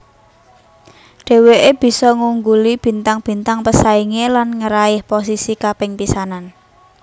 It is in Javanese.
Dheweké bisa ngungguli bintang bintang pesaingé lan ngeraih posisi kaping pisanan